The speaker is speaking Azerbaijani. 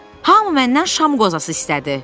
Hamı məndən şam qozası istədi.